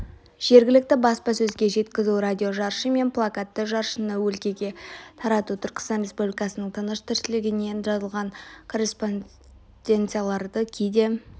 жергілікті баспасөзге жеткізу радиожаршы мен плакатты жаршыны өлкеге тарату түркістан республикасының тыныс-тіршілігінен жазылған корреспонденцияларды кейде